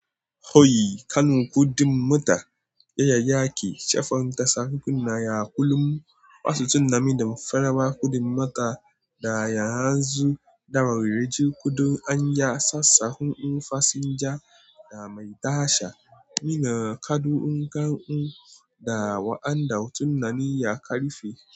Hoyi, kanun kudin mota yayyake shekarar tasa hukuna ya ƙulu wasu tunnanin damfarawa kudin mota da ya hanzu da rarraje kudin anya, sassauƙin fasinja da mai tasha. Muna kaɗuwan kanun da wa'andan tunnani ya ƙarfe.